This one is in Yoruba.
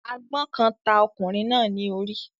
àgbọn kan ta okunrin na ní ori